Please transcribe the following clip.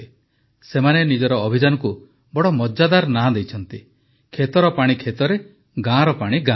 ସେମାନେ ନିଜ ଅଭିଯାନକୁ ବଡ଼ ମଜାଦାର ନାଁ ଦେଇଛନ୍ତି ଖେତର ପାଣି ଖେତରେ ଗାଁର ପାଣି ଗାଁରେ